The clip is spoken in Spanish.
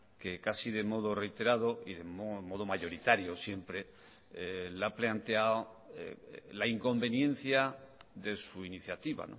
que casi de modo reiterado y de modo mayoritario siempre le ha planteado la inconveniencia de su iniciativa